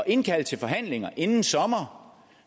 indkalde til forhandlinger inden sommer